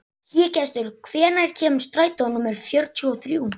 Hlégestur, hvenær kemur strætó númer fjörutíu og þrjú?